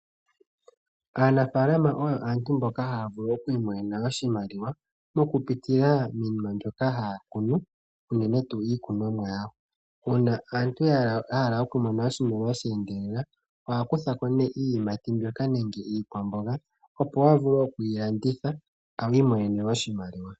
Aanafalama oyo aantu mboka havulu okwimonena oshimaliwa mokupitila minima mbyoka hakunu unene tu ikunomwa yawo , una aantu yahala okumona oshimaliwa shendelela oha kuthako ne iiyimati mbyoka nenge Iikwambonga opo avule okwilanditha imonene oshimaliwa.